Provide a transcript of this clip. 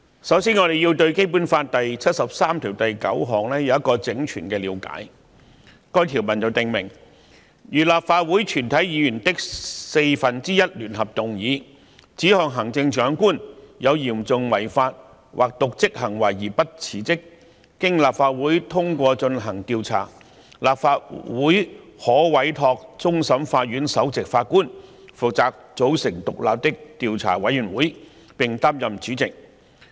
首先，我們必須對《基本法》第七十三條第九項有全面的了解，該項條文訂明："如立法會全體議員的四分之一聯合動議，指控行政長官有嚴重違法或瀆職行為而不辭職，經立法會通過進行調查，立法會可委托終審法院首席法官負責組成獨立的調查委員會，並擔任主席。